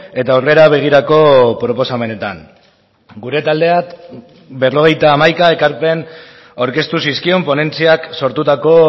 eta aurrera begirako proposamenetan gure taldeak berrogeita hamaika ekarpen aurkeztu zizkion ponentziak sortutako